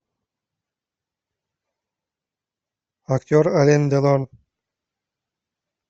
актер ален делон